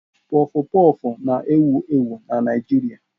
Pọfụ pọfụ na-ewu ewu na Naijiria.